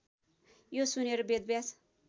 यो सुनेर वेदव्यास